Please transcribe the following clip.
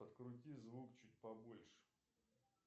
подкрути звук чуть побольше